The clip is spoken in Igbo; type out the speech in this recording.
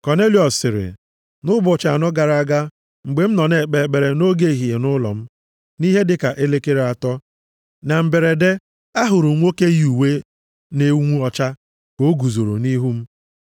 Kọnelịọs sịrị, “Nʼụbọchị anọ gara aga, mgbe m nọ na-ekpe ekpere nʼoge ehihie nʼụlọ m, nʼihe dịka elekere atọ, na mberede, ahụrụ m nwoke yi uwe na-enwu ọcha ka o guzoro nʼihu m.